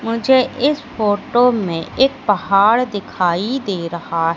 मुझे इस फोटो में एक पहाड़ दिखाई दे रहा--